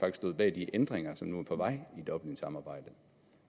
stod bag de ændringer som nu er på vej i dublinsamarbejdet